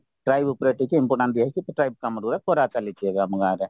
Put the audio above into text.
try book ରେ ଟିକେ important ଦିଅ ହେଇଚି କାମ ଗୁଡାକ କରା ଚାଲିଛି ଏବେ ଆମ ଗାଁରେ